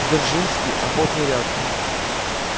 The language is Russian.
дзержинской охотный ряд